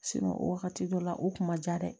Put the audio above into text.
o wagati dɔ la u kun ma ja dɛ